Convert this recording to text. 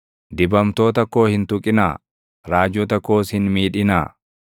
“Dibamtoota koo hin tuqinaa; raajota koos hin miidhinaa.”